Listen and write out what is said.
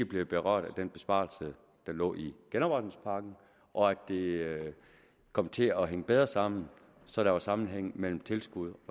bliver berørt af den besparelse der lå i genopretningspakken og at det kommer til at hænge bedre sammen så der er sammenhæng mellem tilskud